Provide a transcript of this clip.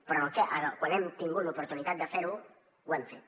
però quan hem tingut l’oportunitat de fer ho ho hem fet